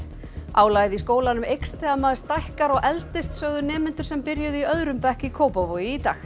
álagið í skólanum eykst þegar maður stækkar og eldist sögðu nemendur sem byrjuðu í öðrum bekk í Kópavogi í dag